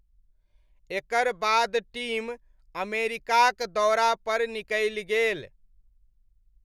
एकर बाद टीम अमेरिकाक दौरापर निकलि गेल।